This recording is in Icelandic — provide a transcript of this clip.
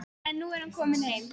En nú er hann kominn heim.